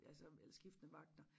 Altså eller skiftende vagter